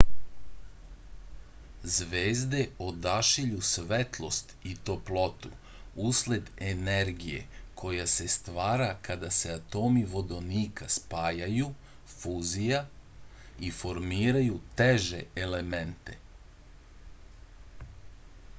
звезде одашиљу светлост и топлоту услед енергије која се ствара када се атоми водоника спајају фузија и формирају теже елементе